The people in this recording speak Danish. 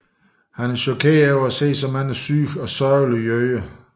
Han er chokeret over at se de mange syge og sørgelige jøder